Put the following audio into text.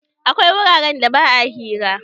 Akwai wuraren da ba a hira.